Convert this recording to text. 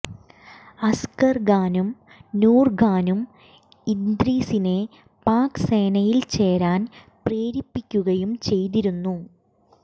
അസ്ഗർ ഖാനും നൂർ ഖാനും ഇദ്രീസിനെ പാക് സേനയിൽ ചേരാൻ പ്രേരിപ്പിക്കുകയും ചെയ്തിരുന്നു